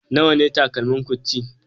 Nawa ne takalmin Gucci?